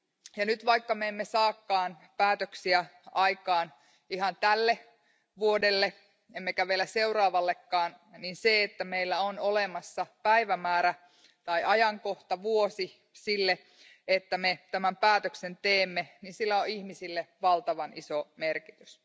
Ja vaikka me emme nyt saakaan päätöksiä aikaan ihan tälle vuodelle emmekä vielä seuraavallekaan, niin sillä, että meillä on olemassa päivämäärä tai ajankohta, vuosi sille, että me tämän päätöksen teemme, on ihmisille valtavan iso merkitys.